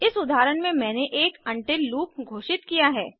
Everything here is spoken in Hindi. इस उदाहरण में मैंने एक उंटिल लूप घोषित किया है